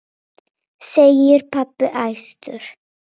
segir pabbi æstur.